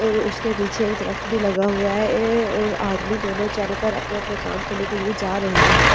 और उसके पीछे एक दरख्त भी लगा हुआ है ऐ और आदमी दोनों चलकर अपने-अपने काम करने के लिए जा रहे हैं।